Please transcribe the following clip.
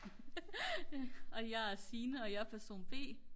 og jeg er Signe og jeg er person b